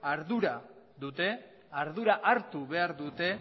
ardura dute ardura hartu behar dute